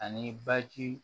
Ani baji